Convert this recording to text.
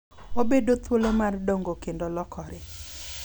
Obedo thuolo mar dongo kendo lokore.